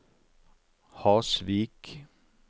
Hasvik